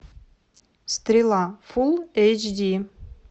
стрела фул эйч ди